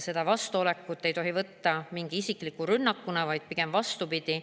Seda vastuolekut ei tohi võtta isikliku rünnakuna, vaid pigem vastupidi.